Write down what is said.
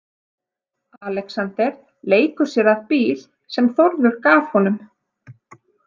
Alexander leikur sér að bíl sem Þórður gaf honum.